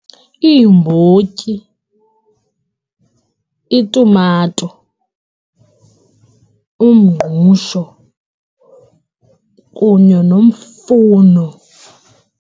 Iimbotyi, itumato, umngqusho kunye nomfuno.